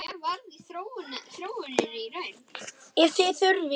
Ef þið þurfið.